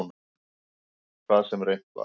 Hvað sem reynt var.